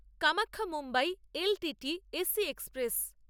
Kamakhya Mumbai L T T AC express